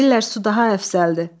Deyirlər su daha əfsəldir.